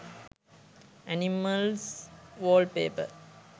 animals wallpaper